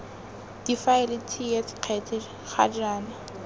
difaele ts kgetse ga jaana